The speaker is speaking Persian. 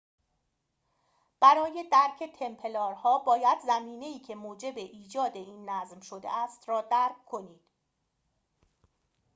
برای درک تمپلارها باید زمینه ای که موجب ایجاد این نظم شده است را درک کنید